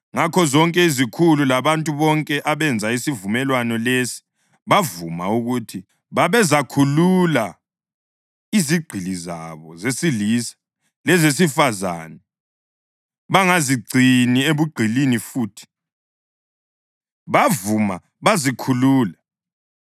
Ngakho zonke izikhulu labantu bonke abenza isivumelwano lesi bavuma ukuthi babezakhulula izigqili zabo zesilisa lezesifazane bangazigcini ebugqilini futhi. Bavuma, bazikhulula.